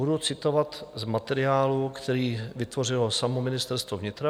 Budu citovat z materiálu, který vytvořilo samo Ministerstvo vnitra.